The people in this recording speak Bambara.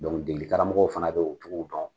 degeli karamɔgɔw fana be o cogow dɔn.